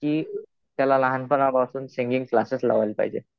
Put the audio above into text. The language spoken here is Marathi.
कि त्याला लहानपणापासून सिंगिंग क्लासेस लावायला पाहिजे.